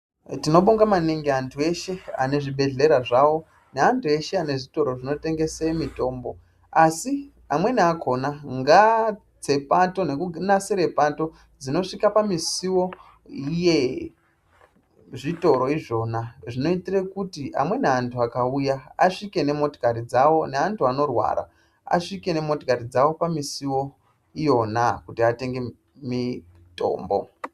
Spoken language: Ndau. Tinobonga maningi antu eshe anezvibhedhlera zvawo neantu eshe anezvitoro zvinotengese mitombo, asi amweni akona ngaatse pato nekunasire Pato dzinosvika pamisowo yezvitoro izvona zvinoitire kuti amweni antu akauya asvike nemotikari dzawo neantu anorwara asvike nemotikari dzawo pamisowo iyona kuti atenge mitombo.